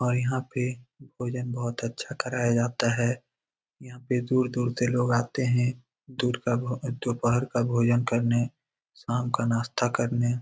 और यहाँ पे भोजन बहुत अच्छा काराया जाता हे | यहाँ पे दूर दूर से लोग आते हैं दूर का दोपहर का भोजन करने शाम का नास्ता करने ।